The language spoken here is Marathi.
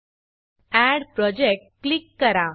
add project add project click करा